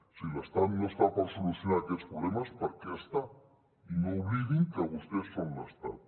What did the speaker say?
si l’estat no està per solucionar aquests problemes per què està i no oblidin que vostès són l’estat